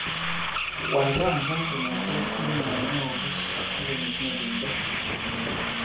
Waal rangyat kongethe nemanyogiis agoi netinye tuindo